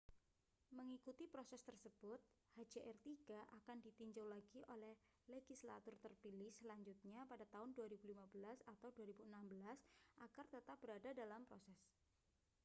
mengikuti proses tersebut hjr-3 akan ditinjau lagi oleh legislatur terpilih selanjutnya pada tahun 2015 atau 2016 agar tetap berada dalam proses